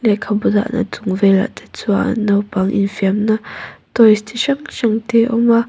lehkhabu dahna chung velah te chuan naupang infiamna toys chi hrang hrang te a awm a.